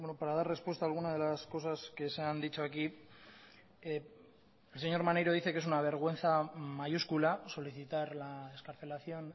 para dar respuesta a alguna de las cosas que se han dicho aquí el señor maneiro dice que es una vergüenza mayúscula solicitar la excarcelación